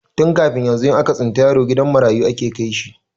Tun kafin yanzu, in aka tsinta yaro gidan marayu ake kai shi.